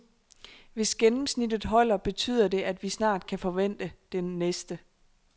Hvis gennemsnittet holder, betyder det, at vi snart kan forvente den næste.